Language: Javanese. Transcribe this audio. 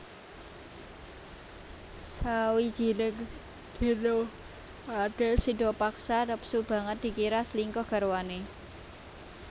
Sawijining dina radèn Sidapaksa nepsu banget dikira slingkuh garwané